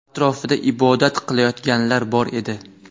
Atrofda ibodat qilayotganlar bor edi.